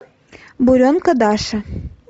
буренка даша